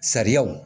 Sariyaw